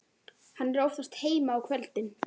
Hann er oftast heima á kvöldin.